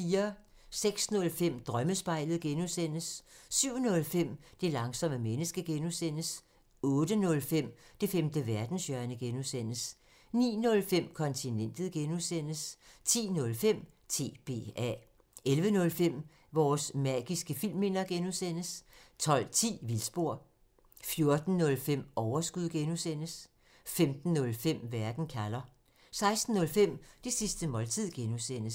06:05: Drømmespejlet (G) 07:05: Det langsomme menneske (G) 08:05: Det femte verdenshjørne (G) 09:05: Kontinentet (G) 10:05: TBA 11:05: Vores magiske filmminder (G) 12:10: Vildspor 14:05: Overskud (G) 15:05: Verden kalder 16:05: Det sidste måltid (G)